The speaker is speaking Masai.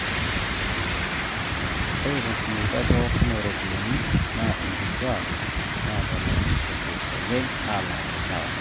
ore tenkitumiata pooki ooropiyiani naa inkituaak naatalakishote oleng alang ilewa